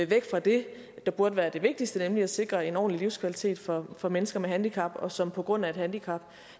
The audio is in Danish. væk fra det der burde være det vigtigste nemlig at sikre en ordentlig livskvalitet for for mennesker med handicap som på grund af et handicap